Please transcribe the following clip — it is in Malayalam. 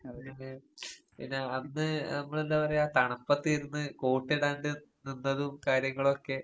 അത് പിന്നെ അന്ന് നമ്മളെന്താ പറയാ തണുപ്പത്തിരുന്ന് കോട്ടിടാണ്ട് നിന്നതും കാര്യങ്ങളുവൊക്കെ